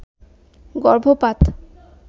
গর্ভপাত